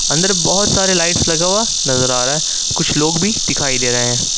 अंदर बहोत सारे लाइट्स लगा हुआ नजर आ रहा है कुछ लोग भी दिखाई दे रहे हैं।